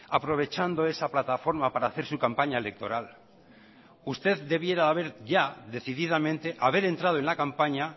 aprovechando esa plataforma para hacer su campaña electoral usted debiera de haber ya decididamente haber entrado en la campaña